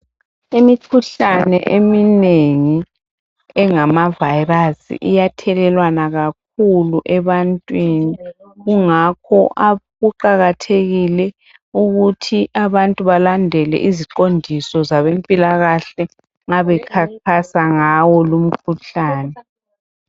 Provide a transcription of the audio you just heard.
Imikhuhlane eminengi engama virus iyathelelwana kakhulu ebantwini kungakho kuqakathekile ukuthi abantu balandele iziqondiso zabempilakahle nxa bekhankasa ngawo lo umkhuhlane.